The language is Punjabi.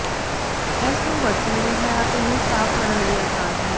ਇਸ ਨੂੰ ਵਰਤਣ ਲਈ ਹੈ ਅਤੇ ਨੂੰ ਸਾਫ਼ ਕਰਨ ਲਈ ਆਸਾਨ ਹੈ